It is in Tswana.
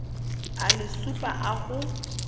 a le supa a go